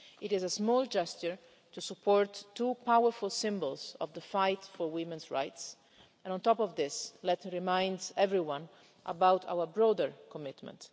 It is a small gesture to support two powerful symbols of the fight for women's rights and, on top of this, let me remind everyone about our broader commitment.